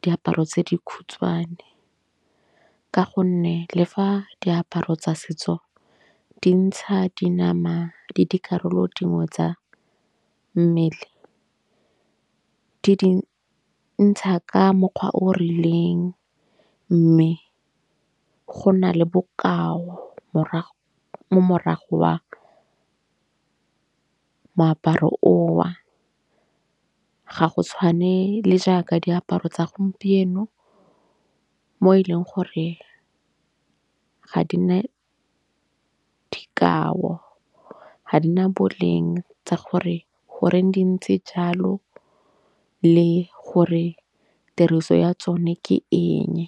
diaparo tse dikgutshwane. Ka gonne le fa diaparo tsa setso dintsha dinama le dikarolo dingwe tsa mmele, di dintsha ka mokgwa o o rileng. Mme go na le bokao morago mo morago wa moaparo o ga go tshwane le jaaka diaparo tsa gompieno. Mo e leng gore ga di na dikao. Ga di na boleng tsa gore goreng di ntse jalo le gore tiriso ya tsone ke eng.